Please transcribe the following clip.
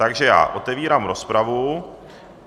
Takže já otevírám rozpravu.